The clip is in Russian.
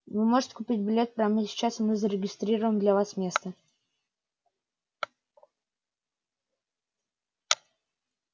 вы можете купить билет прямо сейчас и мы зарегистрируем для вас место